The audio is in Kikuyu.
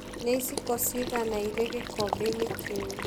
nĩ ĩciko cĩgana ĩrĩ gĩkombe-inĩ kĩu